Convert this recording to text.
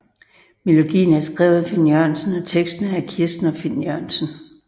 Melodien er skrevet af Finn Jørgensen og teksten er af Kirsten og Finn Jørgensen